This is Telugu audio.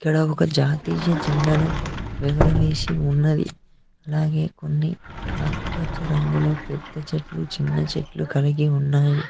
ఇక్కడ ఒక జాతీయ జెండాను ఎగరవేసి ఉన్నది అలాగే కొన్ని ఆకుపచ్చ రంగులో పెద్ద చెట్లు చిన్న చెట్లు కలిగి ఉన్నాయి